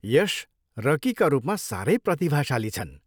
यश रकीका रूपमा साह्रै प्रतिभाशाली छन्।